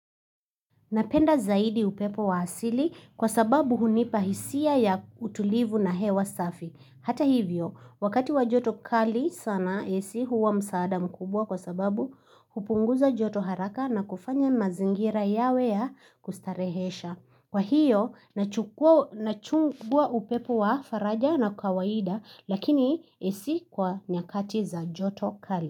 Napenda zaidi upepo wa asili kwa sababu hunipa hisia ya utulivu na hewa safi. Hata hivyo, wakati wa joto kali sana AC huwa msaada mkubwa kwa sababu hupunguza joto haraka na kufanya mazingira yawe ya kustarehesha. Kwa hiyo, nachukua upepo wa faraja na kawaida lakini AC kwa nyakati za joto kali.